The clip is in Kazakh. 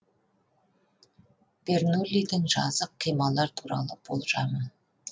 бернуллидің жазық қималар туралы болжамы